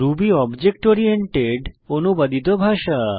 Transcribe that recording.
Ruby object oriented অনুবাদিত ভাষা